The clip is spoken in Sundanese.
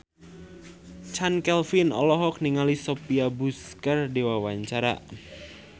Chand Kelvin olohok ningali Sophia Bush keur diwawancara